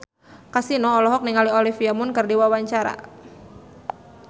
Kasino olohok ningali Olivia Munn keur diwawancara